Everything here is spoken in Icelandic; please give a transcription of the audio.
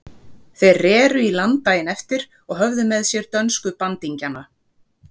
Þeir reru í land daginn eftir og höfðu með sér dönsku bandingjana.